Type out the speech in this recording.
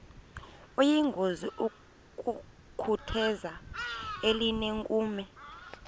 kuyingozi ukutheza elinenkume